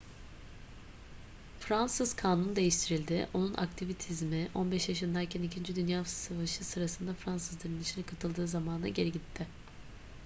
fransız kanunu değiştirildi onun aktivizmi 15 yaşındayken ii dünya savaşı sırasında fransız direnişine katıldığı zamana geri gitti